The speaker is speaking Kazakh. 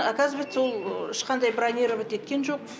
оказывается ол ешқандай бронировать еткен жоқ